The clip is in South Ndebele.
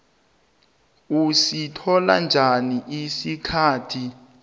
usithola njani isitifikethi